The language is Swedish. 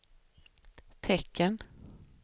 tecken